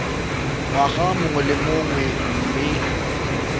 ngwaga mongwe le mongwe mme